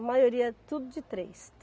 A maioria é tudo de três.